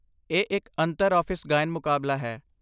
ਇਹ ਇੱਕ ਅੰਤਰ ਆਫ਼ਿਸ ਗਾਇਨ ਮੁਕਾਬਲਾ ਹੈ